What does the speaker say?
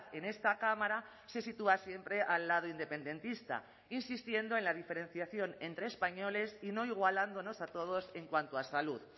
en esta cámara se sitúa siempre al lado independentista insistiendo en la diferenciación entre españoles y no igualándonos a todos en cuanto a salud